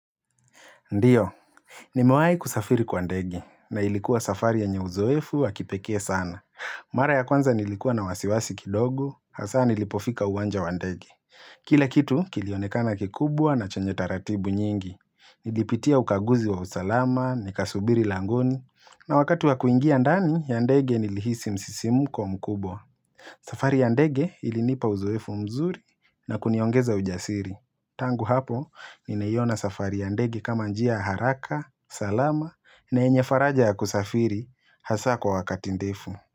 Ndiyo, nimewahi kusafiri kwa ndege, na ilikuwa safari yenye uzoefu wa kipekee sana. Mara ya kwanza nilikuwa na wasiwasi kidogo, hasaa nilipofika uwanja wa ndege. Kila kitu, kilionekana kikubwa na chenye taratibu nyingi. Nilipitia ukaguzi wa usalama, nikasubiri langoni, na wakati wa kuingia ndani ya ndege nilihisi msisimuko mkubwa. Safari ya ndege ilinipa uzoefu mzuri na kuniongeza ujasiri. Tangu hapo, nimeiona safari ya ndege kama njia haraka, salama, na yenye faraja ya kusafiri, hasaa kwa wakati ndefu.